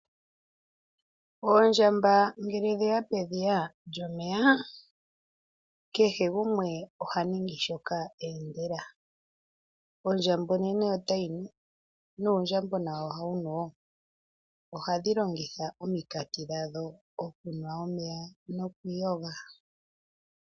Oondjamba ngele dheya pedhiys lyomeya kehe ngumwe ohaningi shoka endela, ondjamba onene otayinu nuundjambona ohawumu wo, ohadhilongitha omikati dhawo okunwa omeya Nokwilonga.